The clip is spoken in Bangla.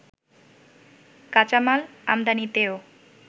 কাঁচামাল ‍‌আমদানিতেও